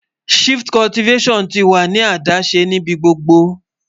Shift Cultivation tí wà ní adáṣẹ́ níbí gbogbo